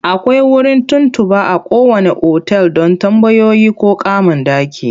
Akwai wurin tuntuɓa a kowanne otal don tambayoyi ko kama ɗaki.